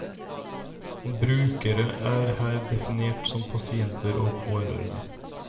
Brukere er her definert som pasienter og pårørende.